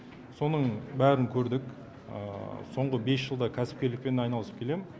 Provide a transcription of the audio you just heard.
соның бәрін көрдік соңғы бес жылда кәсіпкерлікпен айналысып келемін